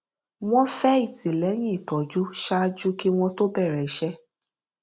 wọn fẹ ìtìlẹyìn ìtọjú ṣáájú kí wọn to bẹrẹ iṣẹ